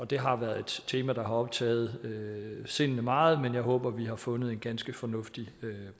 det har været et tema der har optaget sindene meget men jeg håber at vi har fundet en ganske fornuftig